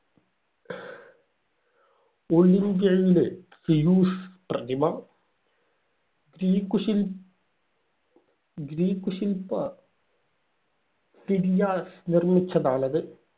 ഒളിമ്പിയയിലെ Zeus പ്രതിമ. Greek ശില് Greek ശില്പ ഫിദിയാസ് നിർമിച്ചതാണത്.